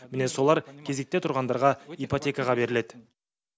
міне солар кезекте тұрғандарға ипотекаға беріледі